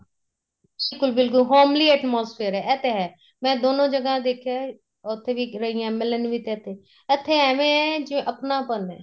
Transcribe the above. ਬਿਲਕੁਲ ਬਿਲਕੁਲ homely atmosphere ਏ ਇਹ ਤੇ ਹੈ ਮੈਂ ਦੋਨੋ ਜਗ੍ਹਾ ਦੇਖਿਆ ਉੱਥੇ ਵੀ ਰਹੀ ਆ MLN ਵੀ ਤੇ ਇੱਥੇ ਇੱਥੇ ਐਵੇ ਏ ਜਿਵੇਂ ਅਪਨਾਪਨ ਏ